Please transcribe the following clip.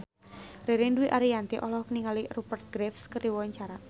Ririn Dwi Ariyanti olohok ningali Rupert Graves keur diwawancara